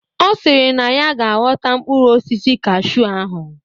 Ọ sịrị na ya ga aghọta mkpụrụ osisi cashew ahụ.